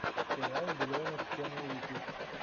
сериал биллионов ченел ютюб